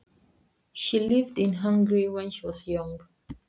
Hún bjó í Ungverjalandi þegar hún var ung.